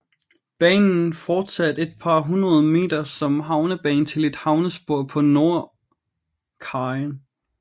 Banen fortsatte et par hundrede meter som havnebane til et havnespor på nordkajen